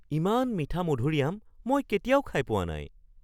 ইমান মিঠা মধুৰি আম মই কেতিয়াও খাই পোৱা নাই!